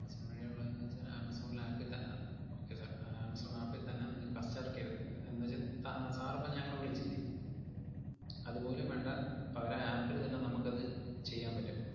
Amazon വഴി ഉള്ളതെന്നു വെച്ചാ, ആമസോണിലെ app ഇ ത~ അഹ് okay sir ആഹ് ആമസോൺ app ഇ തന്നെ നിങ്ങക്ക് customer care എന്നുവെച്ചാ സ~ sir ഇപ്പം ഞങ്ങളെ വിളിച്ചില്ലേ അതുപോലും വേണ്ട, പകരം app ല് തന്നെ നമ്മക്കത് ചെയ്യാൻ പറ്റും.